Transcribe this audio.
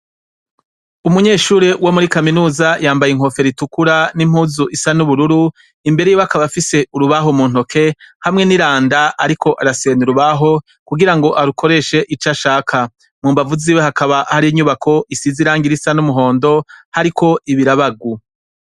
Umunyeshuri wo muri kaminuza yambaye inkofero itukura n'impuzu isa n'ubururu imbere yiwe akaba afise urubaho mu ntoki hamwe n'iranda ariko arasena urubaho kugira arukoreshe ico ashaka mu mbavu ziwe hakaba hari inyubako isize irangi risa n'umuhondo hariko ibirabagu.